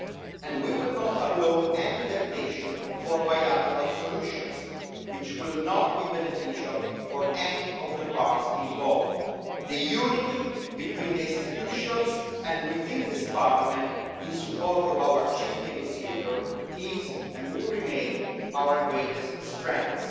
And we will not allow any temptation for bilateral solutions, which will not be beneficial for any of the parts involved. The unity between the institutions and within this Parliament in support of our chief negotiator is, and will remain, our greatest strength.